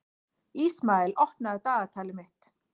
Ísmael, opnaðu dagatalið mitt.